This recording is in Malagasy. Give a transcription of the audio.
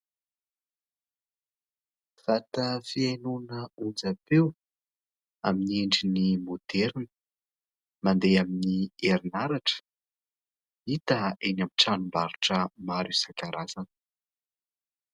Vata fihainona onjampeo amin'ny endriny maoderina. Mandeha amin'ny herinaratra ; hita eny amin'ny tranombarotra maro isan-karazany.